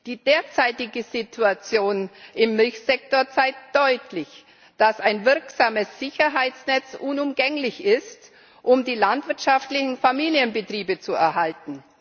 Die derzeitige Situation im Milchsektor zeigt deutlich, dass ein wirksames Sicherheitsnetz unumgänglich ist, um die landwirtschaftlichen Familienbetriebe zu erhalten.